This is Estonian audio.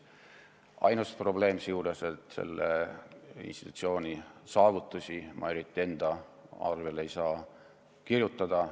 Ainus probleem on, et selle institutsiooni saavutusi ma eriti enda arvele ei saa kirjutada.